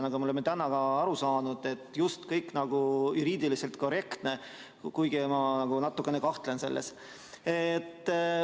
Nagu me oleme täna aru saanud, on kõik juriidiliselt just nagu korrektne, kuigi ma natukene kahtlen selles.